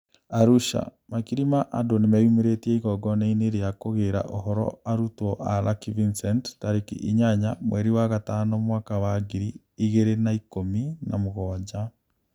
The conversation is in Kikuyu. Arusha: Makiri ma andũ nĩmeyũmĩrĩtie igongona-inĩ rĩa kugĩra ũhoro arutwo a Lucky Vincent tariki inyanya mweri wa gatano mwaka wa ngiri igĩri na ikũmi na mũgwanja